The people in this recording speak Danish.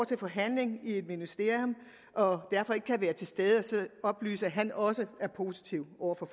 til forhandling i et ministerium og derfor ikke kan være til stede og oplyse om at han også er positiv over for